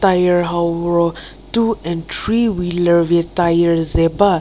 tyre hau ro two and three wheeler vie tyre ze ba.